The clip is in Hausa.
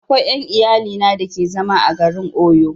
Akwai ƴan iyalina da ke zama a garin Owo